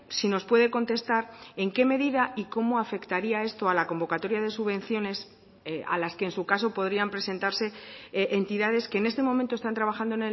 si nos puede contestar en qué medida y cómo afectaría esto a la convocatoria de subvenciones a las que en su caso podrían presentarse entidades que en este momento están trabajando